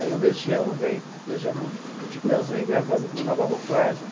Aí o Legião vem o Titãs vem gravando com uma nova roupagem.